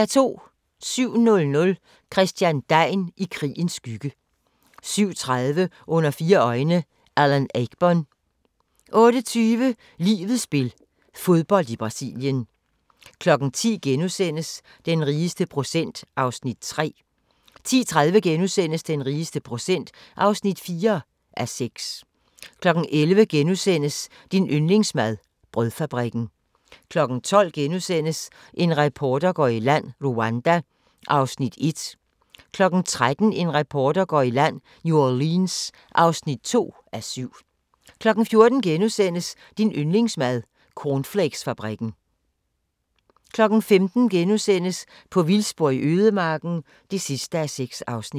07:00: Christian Degn i krigens skygge 07:30: Under fire øjne – Alan Ayckbourn 08:20: Livets spil – fodbold i Brasilien 10:00: Den rigeste procent (3:6)* 10:30: Den rigeste procent (4:6)* 11:00: Din yndlingsmad: Brødfabrikken * 12:00: En reporter går i land: Rwanda (1:7)* 13:00: En reporter går i land: New Orleans (2:7) 14:00: Din yndlingsmad: Cornflakesfabrikken * 15:00: På vildspor i ødemarken (6:6)*